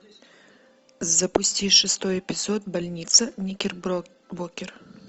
запусти шестой эпизод больница никербокер